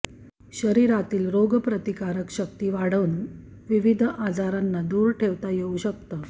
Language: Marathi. शरीरातील रोगप्रतिकारशक्ती वाढवून विविध आजारांना दूर ठेवता येऊ शकतं